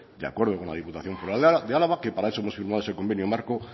de acuerdo con la diputación foral de álava que para eso hemos firmado ese convenio marco